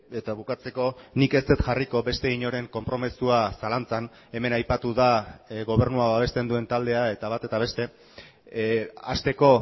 eta bukatzeko nik ez dut jarriko beste inoren konpromisoa zalantzan hemen aipatu da gobernua babesten duen taldea eta bat eta beste hasteko